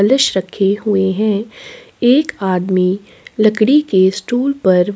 कलश रखे हुए है एक आदमी लकड़ी के स्टूल पर--